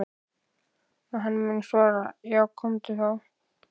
Og hann mun svara: Já komdu þá.